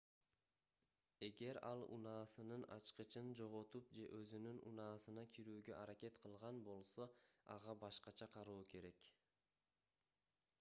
эгер ал унаасынын ачкычын жоготуп же өзүнүн унаасына кирүүгө аракет кылган болсо ага башкача кароо керек